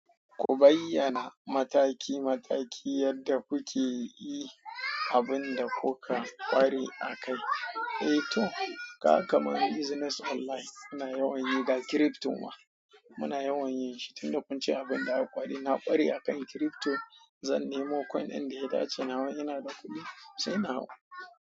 Ku bayyana mataki mataki yadda kuke yi abin da kuka ƙware a kai. Eh toh, kaga kaman business online. Muna yawan yi ga crypto ma. Muna yawan yin shi. Tun da kun ce abin da aka ƙware, na ƙware a kan crypto. Zan nemo coin ɗin da ya dace. Nawa ina da kuɗi sai na hau.